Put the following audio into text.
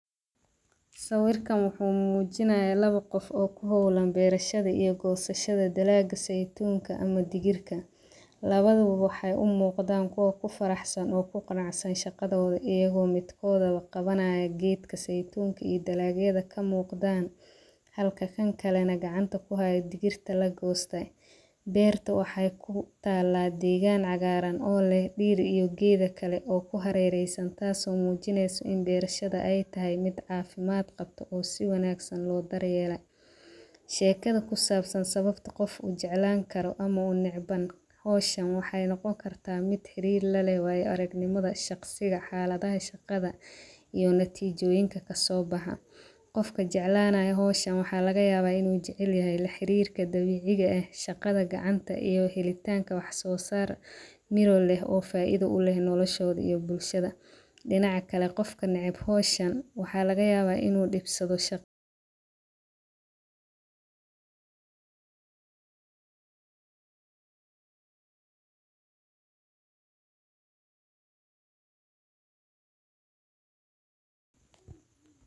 Sawirkan wuxu mujinaya lawa qoof oo ku hawlaan beerashadha iyo dalaag zeitunka ama digirka. Lawada ba waxayt u muqdaan kuwa ku faraxsaan oo ku qanacsaan shaqadhoda ayako midkodhaba qawanayo geedka zaitunka iyo daalag yadha ka muqdan halka kaan kale na ku haay digirta lagoste. Beerta waxay kutaala degaan cagaran oo leeh diir iyo geedha kale oo ku harereysan taaso oo mujinayasa in beershdha ay tahay miid cafimaad qabto oo si wanagasan loo daryeelayo. Sheekadha ku sabsan sababto qoof ujeclaan karo ama u necbaan hawshan waxay noqoni karta mid xariir laleh wayo aragnimadha shaqsiga xaladha shaqadha iyo natijoyinka kasobaxa. Qoofka jeclanayo hawshan waxsa lagayaba inu jecelayahay laxarir dabiciga eeh shaqadha gacanta iyo halitanka wax so saar miro leeh oo faidho u leeh nolashodha iyo bulshada. Dinaac kale qofka naceeb hawshan waxa lagayaba in u dibsadho shaqadha.